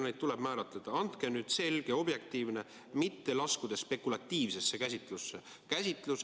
Andke nüüd selge objektiivne, mitte laskudes spekulatiivsesse käsitlusse.